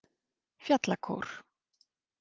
Fjallakór